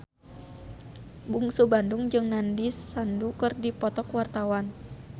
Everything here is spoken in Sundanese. Bungsu Bandung jeung Nandish Sandhu keur dipoto ku wartawan